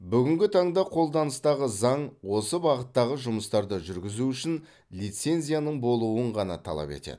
бүгінгі таңда қолданыстағы заң осы бағыттағы жұмыстарды жүргізу үшін лицензияның болуын ғана талап етеді